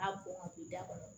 A bɔn ka don da kɔnɔ